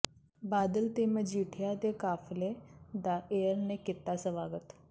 ਬਾਦਲ ਤੇ ਮਜੀਠੀਆ ਦੇ ਕਾਫ਼ਲੇ ਦਾ ਏਆਰ ਨੇ ਕੀਤਾ ਸਵਾਗਤ